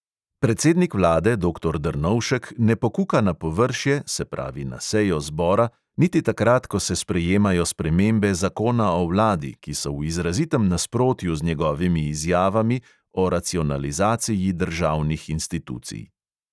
Predsednik vlade doktor drnovšek ne pokuka na površje, se pravi na sejo zbora, niti takrat, ko se sprejemajo spremembe zakona o vladi, ki so v izrazitem nasprotju z njegovimi izjavami o racionalizaciji državnih institucij.